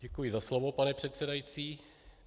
Děkuji za slovo, pane předsedající.